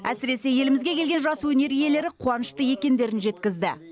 әсіресе елімізге келген жас өнер иелері қуанышты екендерін жеткізді